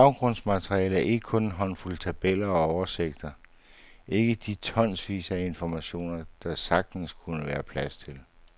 Baggrundsmaterialet er kun en håndfuld tabeller og oversigter, ikke de tonsvis af informationer, der sagtens kunne være plads til.